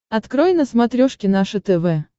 открой на смотрешке наше тв